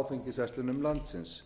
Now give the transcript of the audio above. áfengisverslunum landsins